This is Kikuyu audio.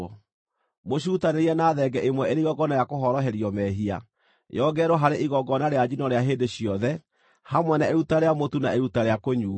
Mũcirutanĩrie na thenge ĩmwe ĩrĩ igongona rĩa kũhoroherio mehia, yongererwo harĩ igongona rĩa njino rĩa hĩndĩ ciothe, hamwe na iruta rĩa mũtu na iruta rĩa kũnyuuo.